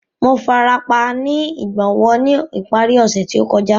Mo farapa ni igbonwo ni ipari ose to kọja.